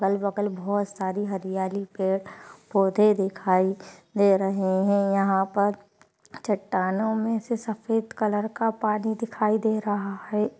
अगल बगल बहुत सारी हरियाली पेड़ पोधे दिखाई दे रहे है यहाँ पर चट्टानों मे से सफ़ेद कलर का पानी दिखाई दे रहा है।